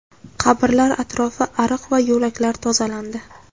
Qabrlar atrofi, ariq va yo‘laklar tozalandi.